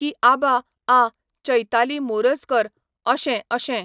की आबा आ चैताली मोरजकर अशें अशें.